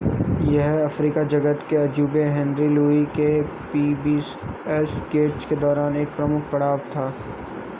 यह अफ्रीकी जगत के अजूबे हेनरी लुई के पीबीएस गेट्स के दौरान एक प्रमुख पड़ाव था